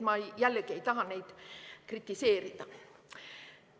Ma jällegi ei taha neid kritiseerida.